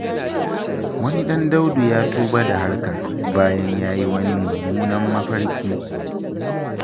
Wani ɗan Daudu ya tuba da harkar, bayan yayi wani mummunan mafarki.